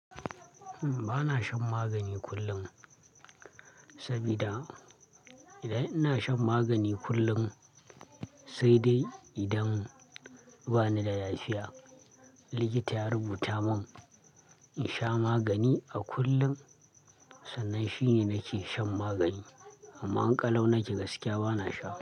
Ba na shan magani kullum, sabida idan ina shan magani kullum sai dai idan bani da lafiya. Likita ya rubuta mun in sha magani a kullum, sannan shine nake shan magani. Amma in ƙalau naje gaskiya ba na sha ba.